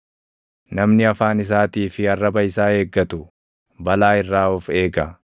Namni afaan isaatii fi arraba isaa eeggatu, balaa irraa of eega.